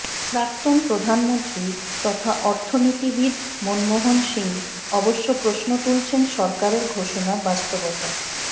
প্রাক্তন প্রধানমন্ত্রী তথা অর্থনীতিবিদ মনমোহন সিংহ অবশ্য প্রশ্ন তুলেছেন সরকারের ঘোষণার বাস্তবতা